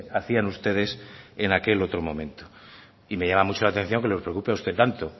hacían ustedes en aquel otro momento y me llama mucho la atención que le preocupe a usted tanto